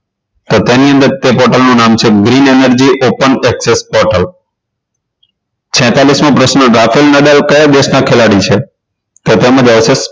તો તેની અંદર તે bottle નું નામ છે green energy open excess bottle છેતાલીસ ગાફેલ નદાલ કયા દેશના ખેલાડી છે તો તેમાં આવશે